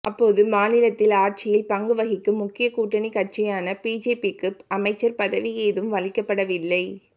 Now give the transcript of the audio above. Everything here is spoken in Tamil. அப்போது மாநிலத்தில் ஆட்சியில் பங்கு வகிக்கும் முக்கிய கூட்டணிக் கட்சியான பிஜேபிக்கு அமைச்சர் பதவி ஏதும் அளிக்கப்படவில்லை